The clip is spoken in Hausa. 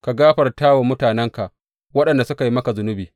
Ka gafarta wa mutanenka, waɗanda suka yi maka zunubi.